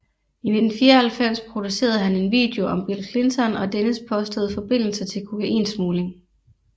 I 1994 producerede han en video om Bill Clinton og dennes påståede forbindelser til kokainsmugling